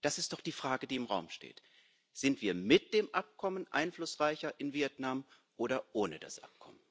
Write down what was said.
Das ist doch die Frage, die im Raum steht Sind wir mit dem Abkommen einflussreicher in Vietnam oder ohne das Abkommen?